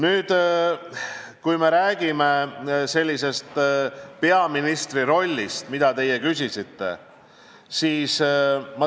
Te küsisite ka peaministri rolli kohta.